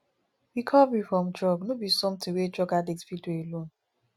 recovery from drug no be somtin wey drug addict fit do alone